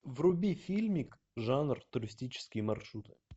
вруби фильмик жанр туристические маршруты